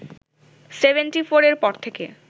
seventy ফোরের পর থেকে